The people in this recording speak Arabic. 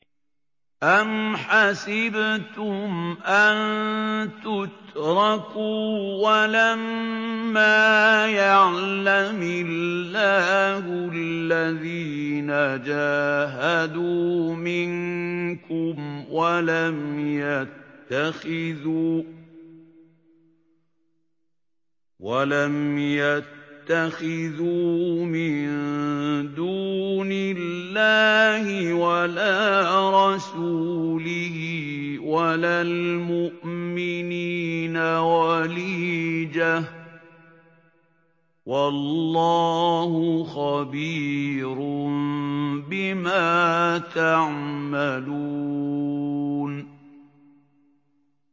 أَمْ حَسِبْتُمْ أَن تُتْرَكُوا وَلَمَّا يَعْلَمِ اللَّهُ الَّذِينَ جَاهَدُوا مِنكُمْ وَلَمْ يَتَّخِذُوا مِن دُونِ اللَّهِ وَلَا رَسُولِهِ وَلَا الْمُؤْمِنِينَ وَلِيجَةً ۚ وَاللَّهُ خَبِيرٌ بِمَا تَعْمَلُونَ